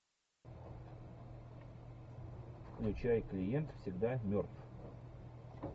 включай клиент всегда мертв